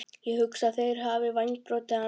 Ég hugsa að þeir hafi vængbrotið hana